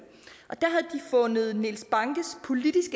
fundet niels bankes politisk